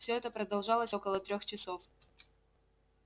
всё это продолжалось около трёх часов